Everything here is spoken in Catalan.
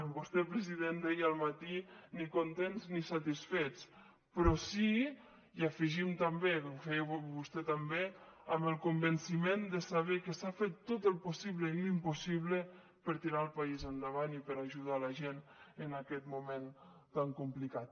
vostè president deia al matí ni contents ni satisfets però sí hi afegim també ho feia vostè també amb el convenciment de saber que s’ha fet tot el possible i l’impossible per tirar el país endavant i per ajudar la gent en aquest moment tan complicat